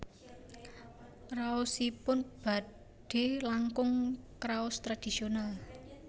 Raosipun badhe langkung kraos tradhisional